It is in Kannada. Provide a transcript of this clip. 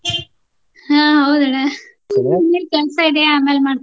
ಹಾ ಹೌದಣ್ಣ . ಚೂರ್ ಕೆಲ್ಸಾ ಇದೆ ಆಮೇಲ್ ಮಾಡ್ತೇನಿ.